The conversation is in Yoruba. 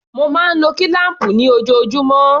Mo máa ń lo kílám̀pù ni ojoojúmọ́.